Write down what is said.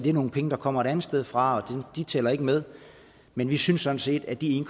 er nogle penge der kommer et andet sted fra og de tæller ikke med men vi synes sådan set at de en